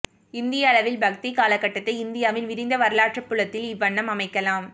இந்திய அளவில் பக்திக் காலகட்டத்தை இந்தியாவின் விரிந்த வரலாற்றுப் புலத்தில் இவ்வண்ணம் அமைக்கலாம்